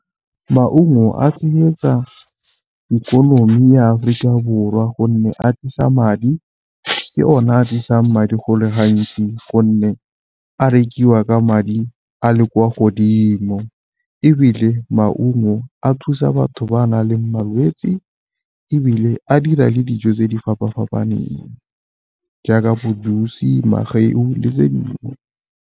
Maungo a tsenyetsa ikonomi ya Aforika Borwa gonne a tlisa madi ke one a tlisang madi go le gantsi gonne a rekiwa ka madi a le kwa godimo, ebile maungo a thusa batho ba nang le malwetsi ebile a dira le dijo tse di fapa-fapaneng jaaka bo jusi, mageu le tse dingwe.